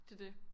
Det det